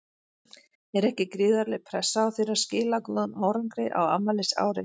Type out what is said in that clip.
Er ekki gríðarleg pressa á þér að skila góðum árangri á afmælisári?